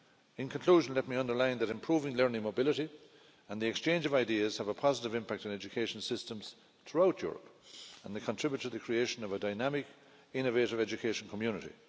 In conclusion, let me underline that improving learning mobility and the exchange of ideas have a positive impact on education systems throughout Europe, and they contribute to the creation of a dynamic, innovative education community.